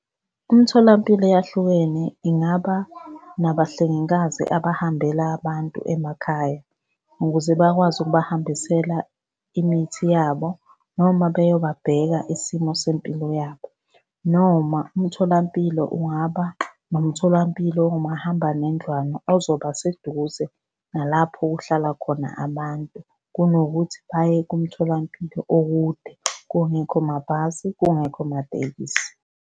Imitholampilo eyahlukene ingaba nabahlengikazi abahambela abantu emakhaya, ukuze bakwazi ukubahambisela imithi yabo noma beyobabheka isimo sempilo yabo, noma umtholampilo ungaba nomtholampilo ongumahambanendlwana ozoba seduze nalapho kuhlala khona abantu. Kunokuthi baye kumtholampilo okude kungekho mabhasi, kungekho matekisi.